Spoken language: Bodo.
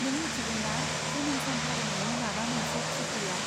नों मिथिगौ ना, जोनोम सान फालिनायनि माबा मोनसे थि गैया।